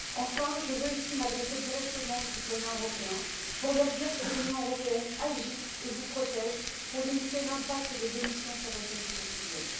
Enfin, je veux ici m'adresser directement aux citoyens européens pour leur dire que l'Union européenne agit et vous protège pour limiter l'impact des émissions sur votre vie quotidienne.